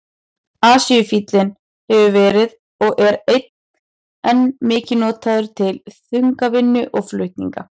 Asíufíllinn hefur verið og er enn mikið notaður til þungavinnu og flutninga.